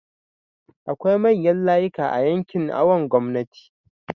akwai manyan layika a yankin awon gomnati